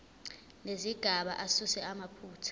nezigaba asuse amaphutha